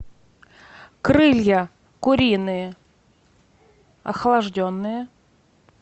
крылья куриные охлажденные